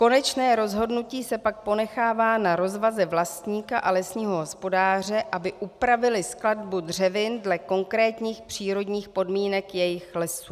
Konečné rozhodnutí se pak ponechává na rozvaze vlastníka a lesního hospodáře, aby upravili skladbu dřevin dle konkrétních přírodních podmínek jejich lesů.